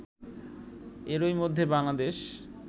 এরই মধ্যে বাংলাদেশ